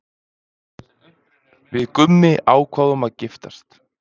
Við Gummi ákváðum að giftast.